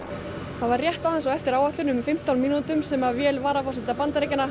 það var rétt aðeins á eftir áætlun um fimmtán mínútum sem flugvél varaforseta Bandaríkjanna